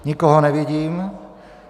Nikoho nevidím.